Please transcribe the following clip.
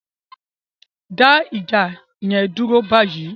Dá ìjà yẹn dúró báyìí!